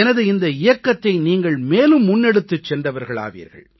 எனது இந்த இயக்கத்தை நீங்கள் மேலும் முன்னெடுத்துச் சென்றவர்களாவீர்கள்